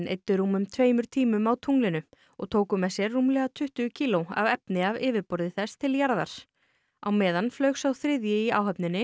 eyddu rúmum tveimur tímum á tunglinu og tóku með sér rúmlega tuttugu kíló af efni af yfirborði þess til jarðar á meðan flaug sá þriðji í áhöfninni